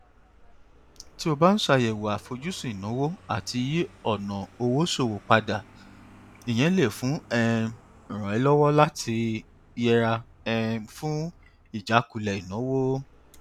tí o bá ń ṣàyẹwò àfojúsùn ìnáwó àti yí ọnà ṣòwò padà ìyẹn lè um ràn ẹ lọwọ láti yẹra um fún ìjákulẹ ìnáwó